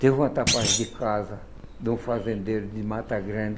Teve uma de casa de um fazendeiro de Mata Grande,